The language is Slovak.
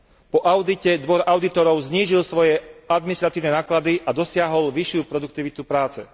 Po audite Dvor audítorov znížil svoje administratívne náklady a dosiahol vyššiu produktivitu práce.